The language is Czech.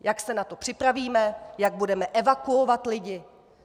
Jak se na to připravíme, jak budeme evakuovat lidi.